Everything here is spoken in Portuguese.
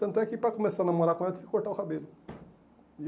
Tanto é que para começar a namorar com ela, tive que cortar o cabelo. E